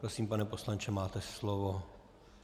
Prosím, pane poslanče, máte slovo.